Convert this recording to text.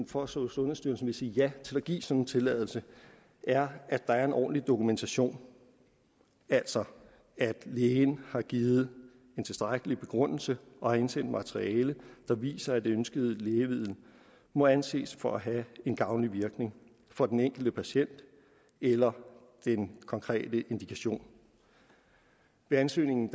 for at sundhedsstyrelsen vil sige ja til at give en sådan tilladelse er at der er en ordentlig dokumentation altså at lægen har givet en tilstrækkelig begrundelse og har indsendt materiale der viser at det ønskede lægemiddel må anses for at have en gavnlig virkning på den enkelte patient eller den konkrete indikation ved ansøgningen